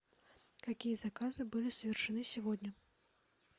какие заказы были совершены сегодня